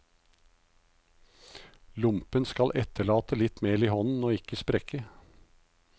Lompen skal etterlate litt mel i hånden og ikke sprekke.